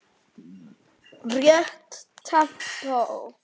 Rétt tempó.